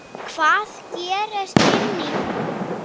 Hvað gerist inni í því?